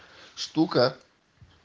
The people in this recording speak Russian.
штука